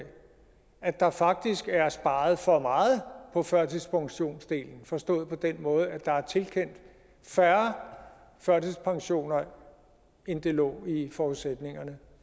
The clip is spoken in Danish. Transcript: at der faktisk er sparet for meget på førtidspensionsdelen forstået på den måde at der er tilkendt færre førtidspensioner end der lå i forudsætningerne